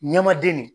Ɲɛmaden de